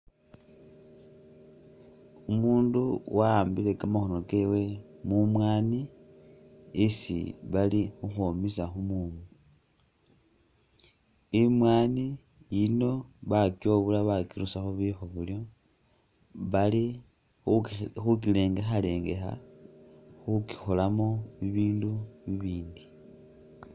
Umundu wa'ambile kamakhono kewe mumwani isi bali khukhwomesa khumumu imwani yiino bakyobula bakirusakho bukhobolyo bali khukirengekharengekha khukikholamo bibindu bibindu